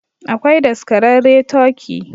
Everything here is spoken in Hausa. Akwai daskararre turkey